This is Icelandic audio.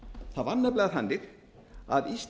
það var nefnilega þannig að